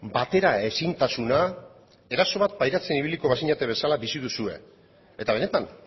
batera ezintasuna eraso bat pairatzen ibiliko bazinaten bezala bizi duzue eta benetan